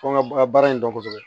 Fo n ga baara in dɔn kosɛbɛ